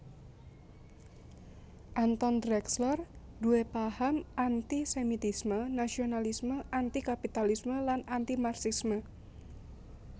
Anton Drexler nduwé paham anti sémitisme nasionalisme anti kapitalisme lan anti Marxisme